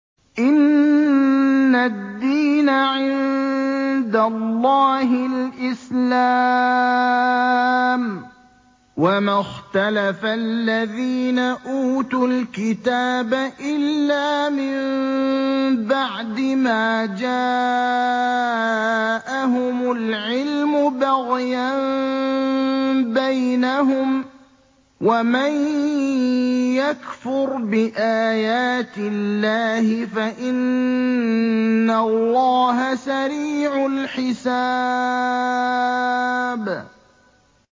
إِنَّ الدِّينَ عِندَ اللَّهِ الْإِسْلَامُ ۗ وَمَا اخْتَلَفَ الَّذِينَ أُوتُوا الْكِتَابَ إِلَّا مِن بَعْدِ مَا جَاءَهُمُ الْعِلْمُ بَغْيًا بَيْنَهُمْ ۗ وَمَن يَكْفُرْ بِآيَاتِ اللَّهِ فَإِنَّ اللَّهَ سَرِيعُ الْحِسَابِ